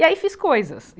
E aí fiz coisas.